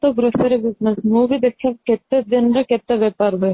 grocery business ମୁଁ ବି ଦେଖିଛି କେତେଦିନ ରେ କେତେ ବେପାର ହୁଏ